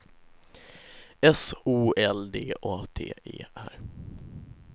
S O L D A T E R